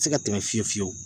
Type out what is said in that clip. Se ka tɛmɛ fiyewu fiyewu